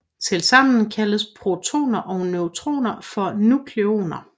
Tilsammen kaldes protoner og neutroner for nukleoner